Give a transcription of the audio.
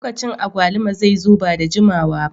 Lokacin agwaluma zai zo ba da jimawa ba.